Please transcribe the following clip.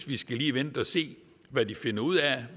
lige skal vente og se hvad de finder ud af